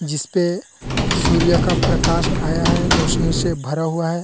जिसपे सूर्य का प्रकाश आया है रोशनी से भरा हुआ है।